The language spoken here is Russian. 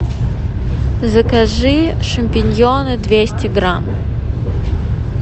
закажи шампиньоны двести грамм